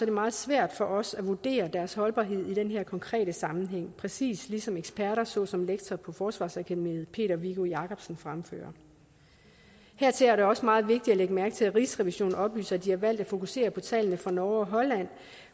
det meget svært for os at vurdere deres holdbarhed i den her konkrete sammenhæng præcis ligesom eksperter såsom lektor på forsvarsakademiet peter viggo jakobsen fremfører hertil er det også meget vigtigt at lægge mærke til at rigsrevisionen oplyser at de har valgt at fokusere på tallene fra norge og holland